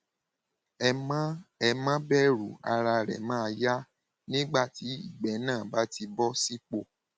ẹ má ẹ má bẹrù ara rẹ máa yá nígbà tí ìgbẹ náà bá ti bọ sípò